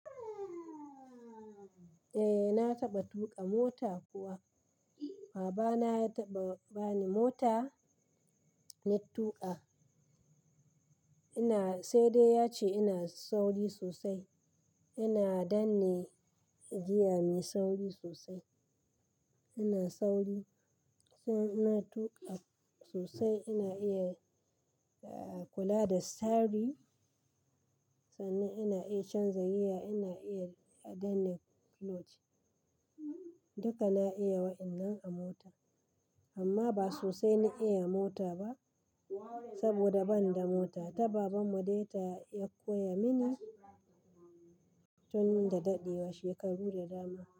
Eh na taɓa tuƙa mota kuwa. Baba na ya taɓa bani mota na tuƙa. Ina-- sai dai ya ce ina sauri sosai. Ina danne giya me sauri sosai. Ina sauri. Sai ina tuƙa sosai ina iya, eh, kula da steering, sannan ina iya canza gear, ina iya danne clutch. Duka na iya waɗannan a mota. Amma ba sosai na iya mota ba saboda ban da mota. Ta baban mu dai ta, ya koya mini tun da daɗewa, shekaru da dama.